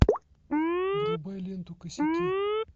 врубай ленту косяки